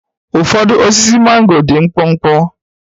Ụfọdụ osisi mango dị mkpụmkpụ.